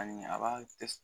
Ani a b'a kɛ